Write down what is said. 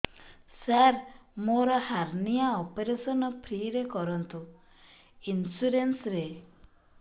ସାର ମୋର hernia operation free ରେ କରନ୍ତୁ ଇନ୍ସୁରେନ୍ସ ରେ